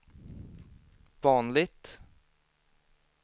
vanligt